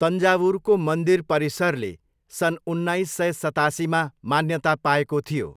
तन्जावुरको मन्दिर परिसरले सन् उन्नाइस सय सतासीमा मान्यता पाएको थियो।